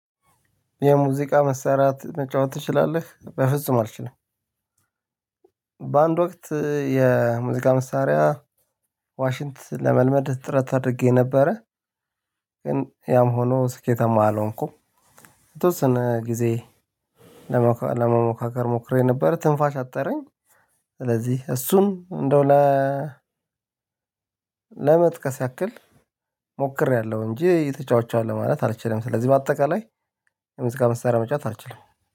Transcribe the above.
የሙዚቃ መሳሪያ መጫወት ትችላለህ? በፍጹም አልችልም። በአንድ ወቅት የሙዚቃ መሳሪያ ዋሽንት ለመልመድ ጥረት አድርጌ ነበረ። ግን ያም ሆኖ ስኬታማ አልሆንኩም። የተወሰነ ጊዜ ለመሞካከር ሞክሬ ነበር ትንፋሽ አጠረኝ። ስለዚህ እሱም እንደው ለ ለመጥቀስ ያክል ሞክሬያለሁ እንጂ ተጫውቻለሁ ማለት አልችልም። ስለዚህ በአጠቃላይ ሙዚቃ መሳርያ መጫወት አልችልም።